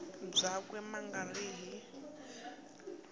byakwe ma nga ri hi